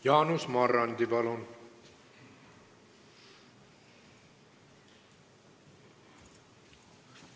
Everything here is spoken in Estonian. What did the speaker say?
Jaanus Marrandi, palun!